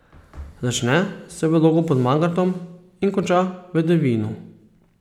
Začne se v Logu pod Mangartom in konča v Devinu.